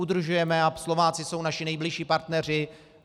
Udržujeme a Slováci jsou naši nejbližší partneři.